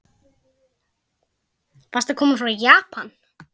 Varstu að koma frá Japan?